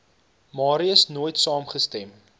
marais nooit saamgestem